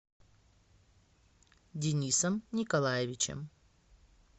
денисом николаевичем